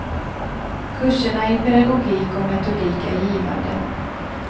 Kurserna i pedagogik och metodik är givande.